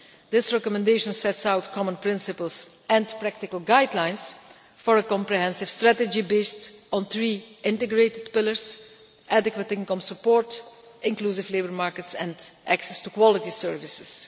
This recommendation sets out common principles and practical guidelines for a comprehensive strategy based on three integrated pillars adequate income support, inclusive labour markets and access to quality services.